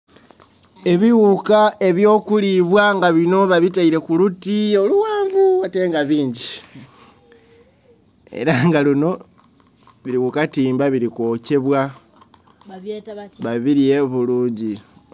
Ebiwuuka ebyo kulibwa nga bino babitaire kuluti oluwanvu ate nga bingi. Era nga luno biri kukatimba biri kwokyebwa babirye bulungi